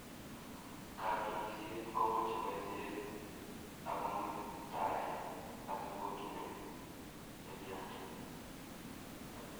Katunisyet komochei boisyet ako mutaet asi kotunen tilyandiit.